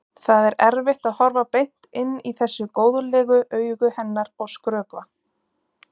Það er erfitt að horfa beint inn í þessu góðlegu augu hennar og skrökva.